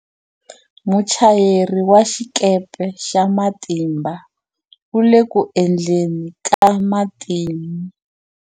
Muchayeri wa xikepe xa matimba u le ku endleni ka matimu.